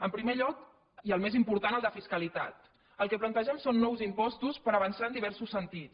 en primer lloc i el més important el de fiscalitat el que plantegem són nous impostos per avançar en diversos sentits